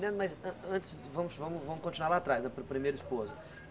mas an antes, vamos vamos continuar lá atrás, a pri primeira esposa.